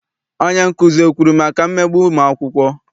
Onyenkuzi ekwuru maka mmegbu ụmụakwụkwọ?